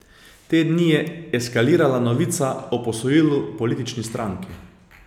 Te dni je eskalirala novica o posojilu politični stranki.